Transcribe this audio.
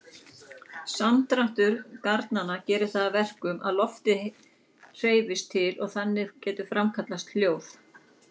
Samdráttur garnanna gerir það að verkum að loftið hreyfist til og þannig getur framkallast hljóð.